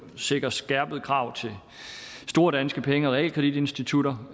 sikrer skærpede krav til store danske penge og realkreditinstitutter